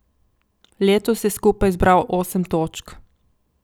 Letos je skupaj zbral osem točk.